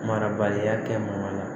Marabaliya kɛ man la